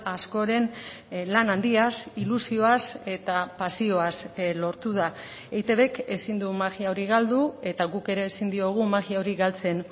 askoren lan handiaz ilusioaz eta pasioaz lortu da eitbk ezin du magia hori galdu eta guk ere ezin diogu magia hori galtzen